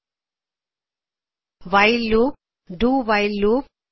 do while loop do while loop